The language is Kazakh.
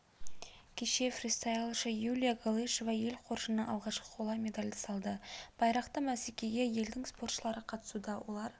кеше фристайлшы юлия галышева ел қоржынына алғашқы қола медальды салды байрақты бәсекеге елдің спортшылары қатысуда олар